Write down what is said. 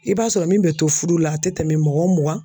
I b'a sɔrɔ min bɛ to fudu la a tɛ tɛmɛ mɔgɔ mugan